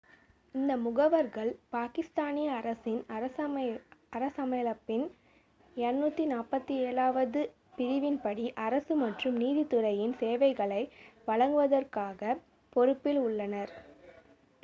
இந்த முகவர்கள் பாகிஸ்தானிய அரசின் அரசியலமைப்பின் 247- வது பிரிவின்படி அரசு மற்றும் நீதித்துறையின் சேவைகளை வழங்குவதற்கான பொறுப்பில் உள்ளனர்